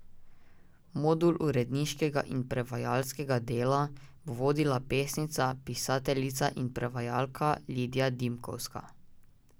Modul uredniškega in prevajalskega dela bo vodila pesnica, pisateljica in prevajalka Lidija Dimkovska.